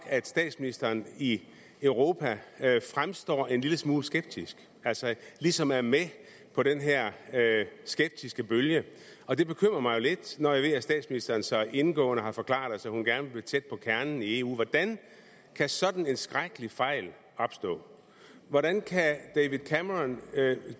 at statsministeren i europa fremstår en lille smule skeptisk altså ligesom er med på den her skeptiske bølge og det bekymrer mig jo lidt når jeg ved at statsministeren så indgående har forklaret os at hun gerne vil tæt på kernen i eu hvordan kan sådan en skrækkelig fejl opstå hvordan kan david cameron